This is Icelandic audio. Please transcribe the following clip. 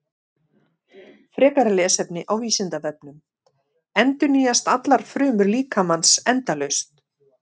Frekara lesefni á Vísindavefnum: Endurnýjast allar frumur líkamans endalaust?